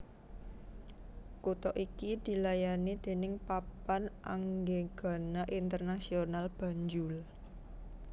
Kutha iki dilayani déning Papan Anggegana Internasional Banjul